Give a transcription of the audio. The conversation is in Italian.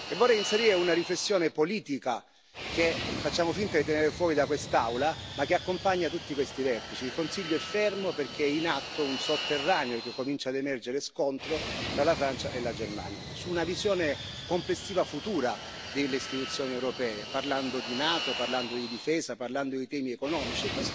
Vorrei inserire una riflessione politica, che facciamo finta di tenere fuori da quest'Aula, ma che accompagna tutti questi vertici il Consiglio è fermo perché è in atto un sotterraneo, che comincia ad emergere, scontro tra la Francia e la Germania su una visione complessiva futura delle Istituzioni europee, parlando di Nato, parlando di difesa, parlando di temi economici.